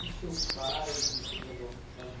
O que que seus pais e seus avós